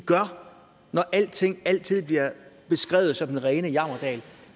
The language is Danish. gør når alting altid er beskrevet som den rene jammerdal